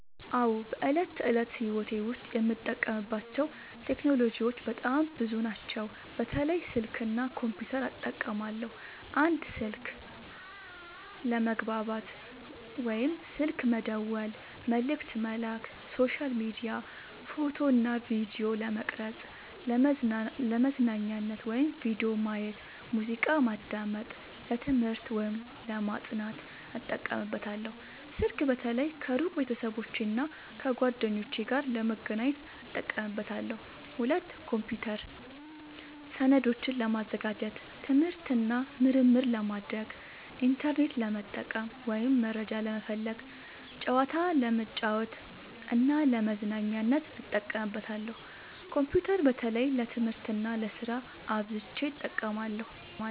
አዎ፣ በዕለት ተዕለት ሕይወቴ ዉስጥ የምጠቀምባቸው ቴክኖሎጂዎች በጣም ብዙ ናቸው፣ በተለይ ስልክ እና ኮምፒውተር እጠቀማለሁ። 1. ስልክ፦ ለመግባባት (ስልክ መደወል፣ መልዕክት መላክ)፣ሶሻል ሚዲያ፣ ፎቶ እና ቪዲዮ ለመቅረጵ፣ ፣ለመዝናኛነት(ቪዲዮ ማየት፣ ሙዚቃ ማዳመጥ)፣ ለትምህርት(ለማጥናት) እጠቀምበታለሁ። ስልክ በተለይ ከሩቅ ቤተሰቦቼና እና ጓደኞቼ ጋር ለመገናኘት እጠቀምበታለሁ። 2. ኮምፒውተር፦ ሰነዶችን ለማዘጋጀት፣ ትምህርት እና ምርምር ለማድረግ፣ ኢንተርኔት ለመጠቀም (መረጃ ለመፈለግ)፣ ጨዋታ ለመጫወት እና ለመዝናኛነት እጠቀምበታለሁ። ኮምፒውተር በተለይ ለትምህርት እና ለስራ አብዝቸ እጠቀማለሁ።